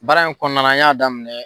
Baara in kɔnɔna na an y'a daminɛ.